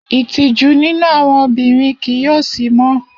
Itiju ninu awọn obinrin kii yoo si mọ.